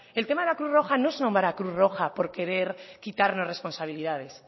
el tema de la cruz roja no son cruz roja porque querer quitarnos responsabilidades